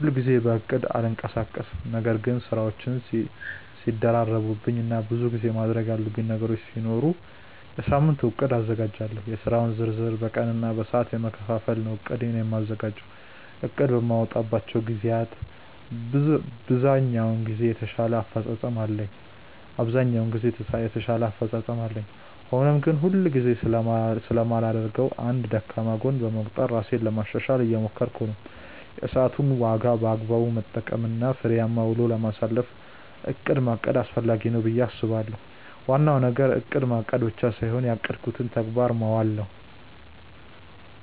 ሁል ጊዜ በእቅድ አልንቀሳቀስም ነገር ግን ስራዎች ሲደራረቡብኝ እና ብዙ ማድረግ ያሉብኝ ነገሮች ሲኖሩ የሳምንት እቅድ አዘጋጃለሁ። የስራውን ዝርዝር በቀን እና በሰዓት በመከፋፈል ነው እቅዴን የማዘጋጀው። እቅድ በማወጣባቸው ግዜያት ብዛኛውን ጊዜ የተሻለ አፈፃፀም አለኝ። ሆኖም ግን ሁል ጊዜ ስለማላደርገው እንደ ደካማ ጎን በመቁጠር ራሴን ለማሻሻሻል እየሞከርኩ ነው። የሰዓትን ዋጋ በአግባቡ ለመጠቀም እና ፍሬያማ ውሎ ለማሳለፍ እቅድ ማቀድ አስፈላጊ ነው ብዬ አስባለሁ። ዋናው ነገር እቅድ ማቀድ ብቻ ሳይሆን ያቀዱትን በተግባር ማዋል ነው።